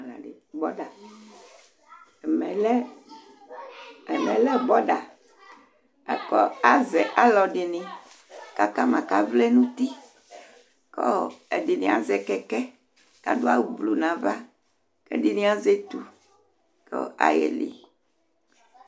Ɛmɛlɛ border Asɛ aluɛɖìŋí kʋ akama kʋ avlɛ ŋu ʋti Ɛɖìní azɛ kɛkɛ kʋ aɖu awu blue ŋu ava kʋ ɛɖìní azɛ etu kʋ ayeli